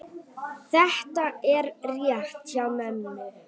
Þetta er rétt hjá mömmu.